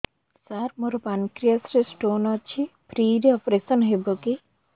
ସାର ମୋର ପାନକ୍ରିଆସ ରେ ସ୍ଟୋନ ଅଛି ଫ୍ରି ରେ ଅପେରସନ ହେବ କି